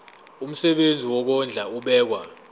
umsebenzi wokondla ubekwa